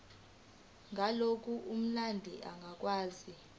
ngalokho umndeni ongakwazi